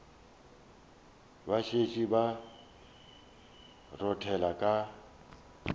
ba šetše ba rothela ka